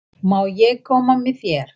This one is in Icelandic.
Má ég koma með þér?